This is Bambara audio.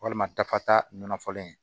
Walima dafa ta nɔnɔ falen